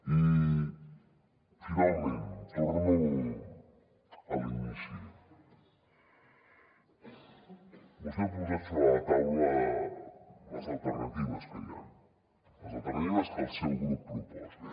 i finalment torno a l’inici vostè ha posat sobre la taula les alternatives que hi han les alternatives que el seu grup proposa